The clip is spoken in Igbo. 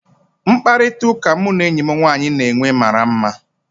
Mkparịta ụka mụ na enyi m nwanyị na-enwe mara mma